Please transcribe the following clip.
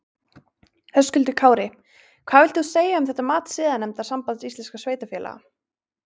Höskuldur Kári: Hvað vilt þú segja um þetta mat siðanefndar Sambands íslenskra sveitarfélaga?